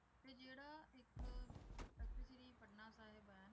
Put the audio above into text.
ਤੇ ਜਿਹੜਾ ਤਖਤ ਸ੍ਰੀ ਪਟਨਾ ਸਾਹਿਬ ਹੈ